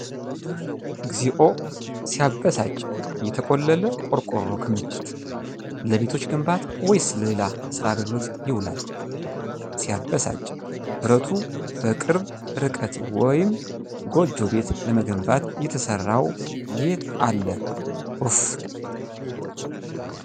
እግዚኦ! ሲያበሳጭ! የተቆለለ ቆርቆሮ ክምችት ። ለቤቶች ግንባታ ወይስ ለሌላ ሥራ አገልግሎት ይውላል? ሲያበሳጭ! ብረቱ በቅርብ ርቀት ወይም ጎጆ ቤት ለመገንባት የተሰራው የት አለ ኡፍ!!።